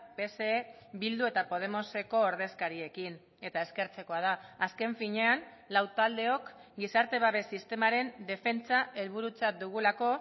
pse bildu eta podemoseko ordezkariekin eta eskertzekoa da azken finean lau taldeok gizarte babes sistemaren defentsa helburutzat dugulako